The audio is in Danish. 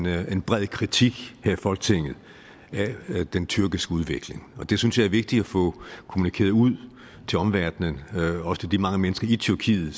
er en bred kritik her i folketinget af den tyrkiske udvikling det synes jeg er vigtigt at få kommunikeret ud til omverdenen også til de mange mennesker i tyrkiet